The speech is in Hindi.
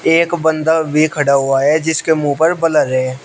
यहां एक बंदा भी खड़ा हुआ है जिसके मुंह पर ब्लर है।